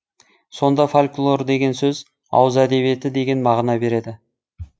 сонда фольклор деген сөз ауыз әдебиеті деген мағына береді